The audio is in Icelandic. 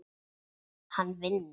Hann vinnur.